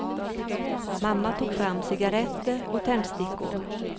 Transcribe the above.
Mamma tog fram cigarretter och tändstickor.